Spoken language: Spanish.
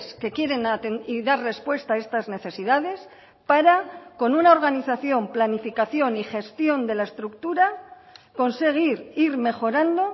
que quieren dar respuesta a estas necesidades para con una organización planificación y gestión de la estructura conseguir ir mejorando